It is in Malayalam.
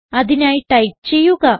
അതിനായി ടൈപ്പ് ചെയ്യുക